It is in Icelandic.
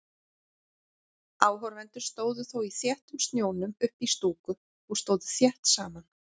Áhorfendur stóðu þó í þéttum snjónum uppí stúku og stóðu þétt saman.